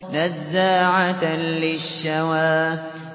نَزَّاعَةً لِّلشَّوَىٰ